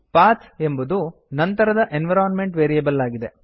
path ಎಂಬುದು ನಂತರದ environment variable ಆಗಿದೆ